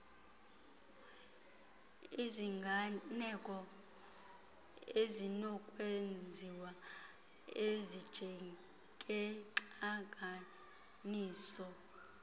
iziganeko ezinokwenziwa ezinjengeentlanganiso